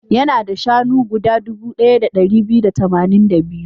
Yana da shanu guda dubu ɗaya da ɗari biyu da tamanin da biyu.